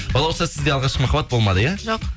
балауса сізде алғашқы махаббат болмады иә жоқ